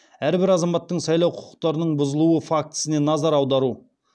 әрбір азаматтың сайлау құқықтарының бұзылуы фактісіне назар аудару